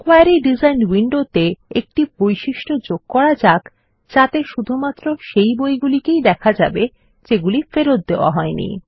query design উইন্ডোতে একটি বৈশিষ্ট্য যোগ করা যাক যাতে শুধুমাত্র সেই বইগুলি কে দেখা যাবে যেগুলি ফেরত দেওয়া হইনি